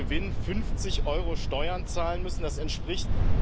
Euro Gewinn 50 Euro Steuern zahlen müssen, das entspricht